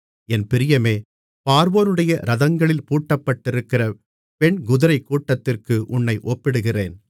என் பிரியமே பார்வோனுடைய இரதங்களில் பூட்டப்பட்டிருக்கிற பெண்குதிரைக் கூட்டத்திற்கு உன்னை ஒப்பிடுகிறேன்